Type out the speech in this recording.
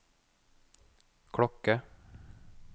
klokke